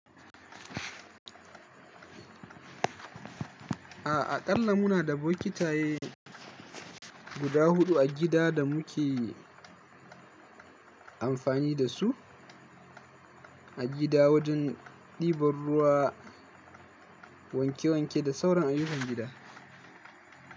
A'a kalla muna da bokitaye guda huɗu a gida da muke amfani da su a gida wajen ɗiban ruwa, wanke wanke da sauran ayukan gida.